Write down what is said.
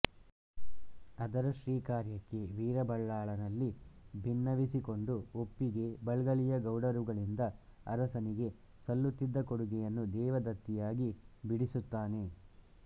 ಅದರ ಶ್ರೀಕಾರ್ಯಕ್ಕೆ ವೀರಬಲ್ಲಾಳನಲ್ಲಿ ಭಿನ್ನವಿಸಿಕೊಂಡು ಒಪ್ಪಿಸಿ ಬೆಳ್ಗಲಿಯ ಗೌಡರುಗಳಿಂದ ಅರಸನಿಗೆ ಸಲ್ಲುತ್ತಿದ್ದ ಕೊಡುಗೆಯನ್ನು ದೇವದತ್ತಿಯಾಗಿ ಬಿಡಿಸುತ್ತಾನೆ